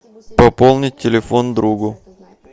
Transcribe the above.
пополнить телефон другу